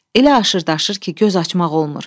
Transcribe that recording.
Elə aşır daşır ki, göz açmaq olmur.